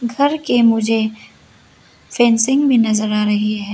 घर के मुझे फेंसिंग भी नजर आ रही है।